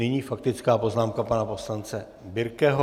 Nyní faktická poznámka pana poslance Birkeho.